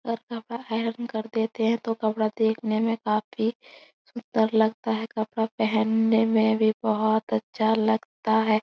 पर कपड़ा आयरन कर देते हैं तो कपड़ा देखने में काफ़ी सुंदर लगता है। कपड़ा पहनने में भी बहुत अच्छा लगता है।